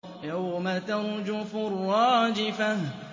يَوْمَ تَرْجُفُ الرَّاجِفَةُ